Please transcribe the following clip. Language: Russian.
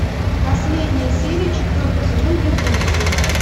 последняя серия четвертый сезон безумцы